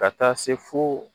Ka taa se fo